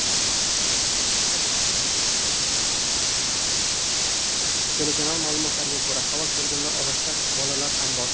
Telekanal ma’lumotlariga ko‘ra, halok bo‘lganlar orasida bolalar ham bor.